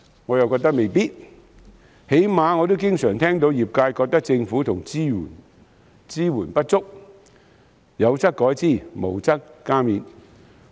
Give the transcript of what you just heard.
我認為未必，最低限度我經常聽到業界抱怨政府支援不足，希望當局有則改之，無則加勉。